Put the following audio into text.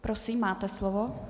Prosím, máte slovo.